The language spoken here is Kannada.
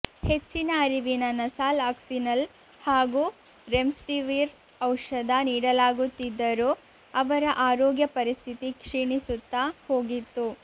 ಹೆಚ್ಚಿನ ಅರಿವಿನ ನಸಾಲ್ ಅಕ್ಸಿನಲ್ ಹಾಗೂ ರೆಮ್ಡಿಸಿವಿರ್ ಔಷಧ ನೀಡಲಾಗುತ್ತಿದ್ದರೂ ಅವರ ಆರೋಗ್ಯ ಪರಿಸ್ಥಿತಿ ಕ್ಷೀಣಿಸುತ್ತಾ ಹೋಗಿತ್ತು